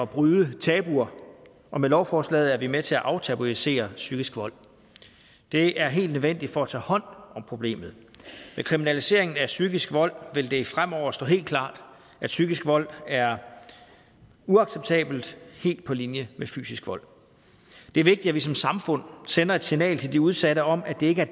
bryde tabuer og med lovforslaget er vi med til at aftabuisere psykisk vold det er helt nødvendigt for at tage hånd om problemet med kriminaliseringen af psykisk vold vil det fremover stå helt klart at psykisk vold er uacceptabelt helt på linje med fysisk vold det er vigtigt at vi som samfund sender et signal til de udsatte om at det ikke er